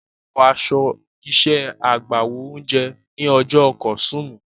Ó wọ aṣọ iṣẹ́ agbáwo oúnjẹ ní ọjọ́ Kọ̀sùtúùmù.